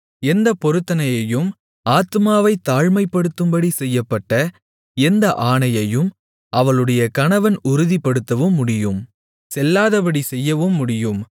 எந்தப் பொருத்தனையையும் ஆத்துமாவைத் தாழ்மைப்படுத்தும்படி செய்யப்பட்ட எந்த ஆணையையும் அவளுடைய கணவன் உறுதிப்படுத்தவும் முடியும் செல்லாதபடி செய்யவும் முடியும்